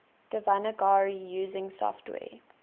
devanagari using software